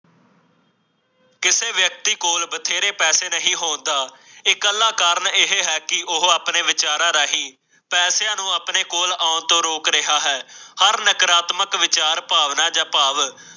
ਕਿਸੇ ਵਿਅਕਤੀ ਕੋਲ ਬਥੇਰੇ ਪੈਸੇ ਨਹੀ ਹੋਂਦਾ ਇਹ ਕਲਾ ਕਾਰਨ ਇਹ ਹੈ ਕਿ ਉਹ ਆਪਣੇ ਵਿਚਾਰਾਂ ਰਾਹੀਂ ਪੈਸਿਆਂ ਨੂੰ ਆਪਣੇ ਕੋਲ ਆਉਣ ਤੋਂ ਰੋਕ ਰਿਹਾ ਹੈ। ਹਰ ਨਕਾਰਾਤਮਕ ਵਿਚਾਰ ਭਾਵਨਾ ਜਾਂ ਭਾਵ